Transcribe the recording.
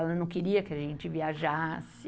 Ela não queria que a gente viajasse.